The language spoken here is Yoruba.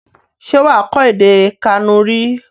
Ṣé wà á kọ́ èdè Kànúrì?